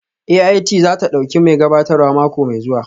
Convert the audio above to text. AIT za ta ɗauki mai gabatarwa mako mai zuwa